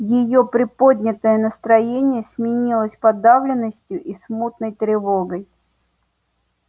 её приподнятое настроение сменилось подавленностью и смутной тревогой